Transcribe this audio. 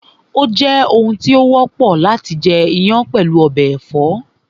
Ó jẹ́ oun tó wọ́pọ̀ láti jẹ iyán pẹ̀lú ọbẹ̀ ẹ̀fọ́